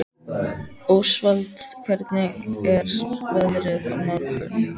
Ósvald, hvernig er veðrið á morgun?